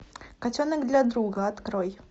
котенок для друга открой